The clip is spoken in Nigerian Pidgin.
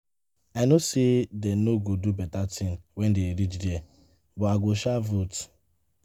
I know say dey no go do beta thing wen dey reach there but I go sha vote